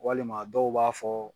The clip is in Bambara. Walima dɔw b'a fɔ